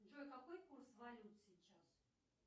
джой какой курс валют сейчас